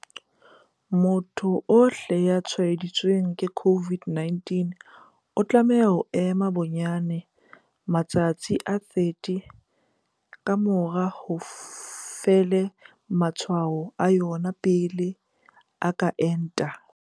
Motho ohle ya tshwaeditsweng ke COVID-19 o tlameha ho ema bonyane matsatsi a 30 ka mora ho fela ha matshwao a yona pele a ka enta.